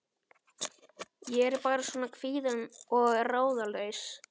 Ég er bara svona kvíðin og ráðalaus.